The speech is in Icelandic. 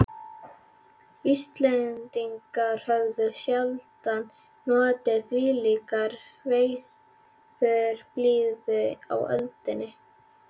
Íslendingar höfðu sjaldan notið þvílíkrar veðurblíðu á öldinni.